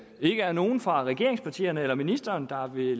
ikke er nogen fra regeringspartierne eller ministeren der vil